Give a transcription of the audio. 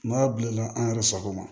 N'a bilenna an yɛrɛ sago ma